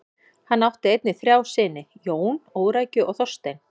Hann átt einnig þrjá syni: Jón, Órækju og Þorstein.